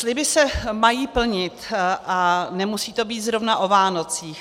Sliby se mají plnit a nemusí to být zrovna o Vánocích.